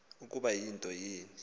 ukuba yinto ni